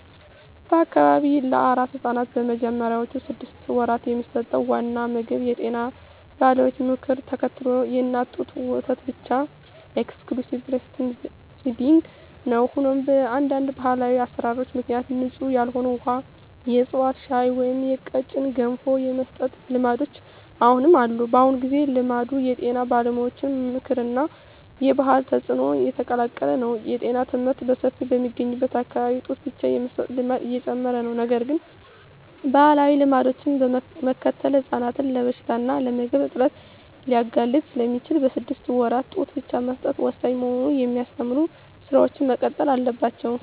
በአካባቢው ለአራስ ሕፃናት በመጀመሪያዎቹ ስድስት ወራት የሚሰጠው ዋና ምግብ የጤና ባለሙያዎችን ምክር ተከትሎ የእናት ጡት ወተት ብቻ (Exclusive Breastfeeding) ነው። ሆኖም፣ በአንዳንድ ባህላዊ አሠራሮች ምክንያት ንጹሕ ያልሆነ ውሃ፣ የዕፅዋት ሻይ ወይም ቀጭን ገንፎ የመስጠት ልማዶች አሁንም አሉ። በአሁኑ ጊዜ፣ ልማዱ የጤና ባለሙያዎች ምክር እና የባህል ተጽዕኖ የተቀላቀለ ነው። የጤና ትምህርት በሰፊው በሚገኝበት አካባቢ ጡት ብቻ የመስጠት ልማድ እየጨመረ ነው። ነገር ግን፣ ባህላዊ ልማዶችን መከተል ሕፃናትን ለበሽታ እና ለምግብ እጥረት ሊያጋልጥ ስለሚችል፣ በስድስት ወራት ጡት ብቻ መስጠት ወሳኝ መሆኑን የሚያስተምሩ ሥራዎች መቀጠል አለባቸው።